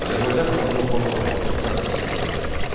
Azərbaycan xalqının formalaşması prosesi başa çatdı.